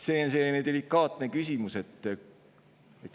See on delikaatne küsimus.